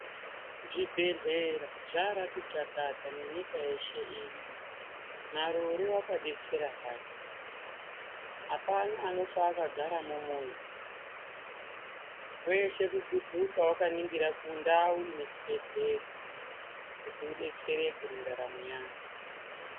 Zvibhedhlera zvarati chakata nenyika yeshe ino, marure wakadetsera hake, hapana anofa akagara mumuzi, weshe kudhudhuka wakaningira kundau ine chibhehlera kuti udetsereke mundaramo yako.